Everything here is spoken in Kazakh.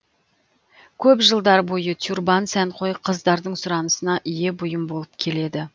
көп жылдар бойы тюрбан сәнқой қыздардың сұранысына ие бұйым болып келеді